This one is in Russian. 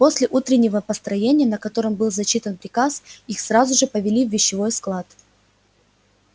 после утреннего построения на котором был зачитан приказ их сразу же повели в вещевой склад